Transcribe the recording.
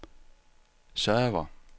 server